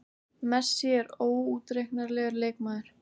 Messi er óútreiknanlegur leikmaður.